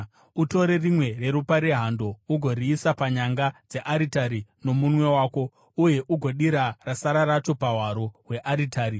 Utore rimwe reropa rehando ugoriisa panyanga dzearitari nomunwe wako, uye ugodira rasara racho pahwaro hwearitari.